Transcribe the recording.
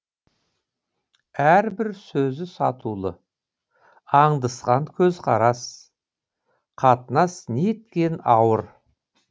әрбір сөзі сатулы аңдысқан көзқарас қатынас неткен ауыр